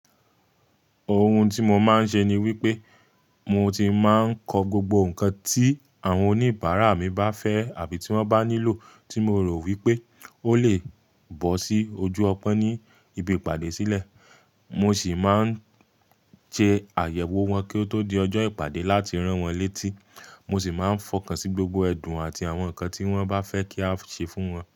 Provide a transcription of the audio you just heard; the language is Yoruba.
Ohun tí mo máa ń ṣe ni wípé mo ti máa ń kọ gbogbo nǹkan tí àwọn oníbàárà mi bá fẹ́ àbí tí wọ́n bá nílò tí mo rò wípé ó lè bọ́ sí ojú ọpọ́n ní ibi ìpàdé sílẹ̀. Mo sì máa ń ṣe àyẹ̀wò wọn kí ó tó di ọjọ́ ìpàdé láti rán wọn létí. Mo sì máa ń fọkàn sí gbogbo ẹdun àti àwọn nǹkan tí wọ́n bá fẹ́ kí a ṣe fún wọn.